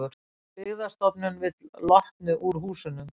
Byggðastofnun vill Lotnu úr húsunum